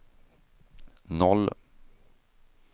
noll